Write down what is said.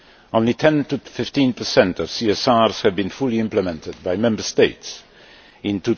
Only 10 to 15 of CSRs have been fully implemented by Member States in